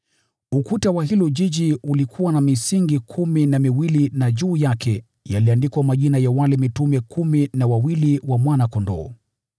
Ukuta wa huo mji ulikuwa na misingi kumi na miwili, na juu yake yaliandikwa majina ya wale mitume kumi na wawili wa Mwana-Kondoo.